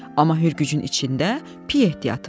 Amma hürgücün içində piy ehtiyatı var.